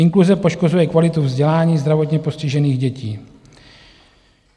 Inkluze poškozuje kvalitu vzdělání zdravotně postižených dětí.